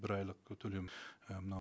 бір айлық ы төлем і мынау